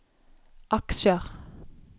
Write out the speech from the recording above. aksjer